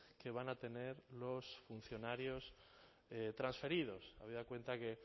que van a tener los funcionarios transferidos habida cuenta que